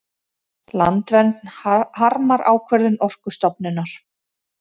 Landvernd harmar ákvörðun Orkustofnunar